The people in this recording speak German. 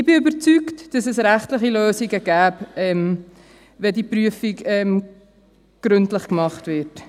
Ich bin überzeugt, dass es rechtliche Lösungen gibt, wenn die Prüfung gründlich gemacht wird.